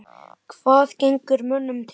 Hvað gengur mönnum til?